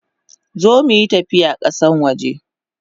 Zo muyi tafiya kasan waje!